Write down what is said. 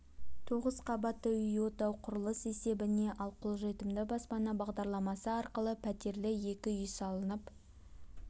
тоғыз қабатты үй отау құрылыс есебіне ал қолжетімді баспана бағдарламасы арқылы пәтерлі екі үй салынып